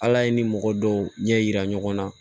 Ala ye ni mɔgɔ dɔw ɲɛ yira ɲɔgɔn na